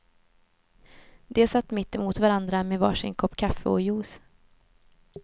De satt mitt emot varandra med var sin kopp kaffe, och juice.